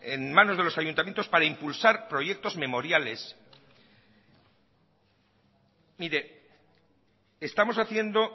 en manos de los ayuntamientos para impulsar proyectos memoriales mire estamos haciendo